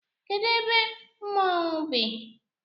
Kedụ ebe mmonwu bi?